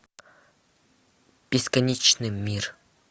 бесконечный мир